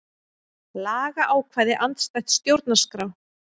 Lagaákvæði andstætt stjórnarskrá